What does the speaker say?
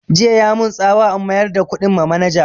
Jiya ya mun tsawa in mayar da kuɗin ma manaja